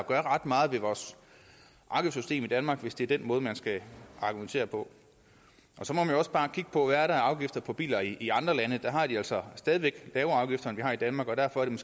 gøre ret meget ved vores markedssystem i danmark hvis det er den måde man skal argumentere på så må man også bare kigge på er af afgifter på biler i andre lande der har de altså stadig væk lavere afgifter end vi har i danmark og derfor er den